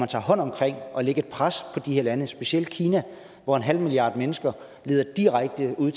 tager hånd om at lægge et pres på de her lande specielt kina hvor en halv milliard mennesker leder direkte ud